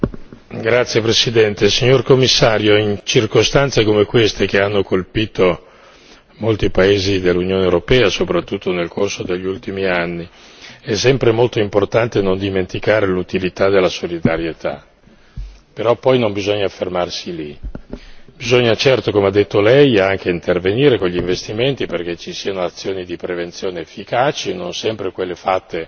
Signor Presidente, Signor Commissario, onorevoli colleghi, in circostanze come queste che hanno colpito molti paesi dell'Unione europea, soprattutto nel corso degli ultimi anni, è sempre molto importante non dimenticare l'utilità della solidarietà però poi non bisogna fermarsi lì. Bisogna certo come ha detto lei anche intervenire con gli investimenti, perché ci siano azioni di prevenzione efficaci e non sempre quelle fatte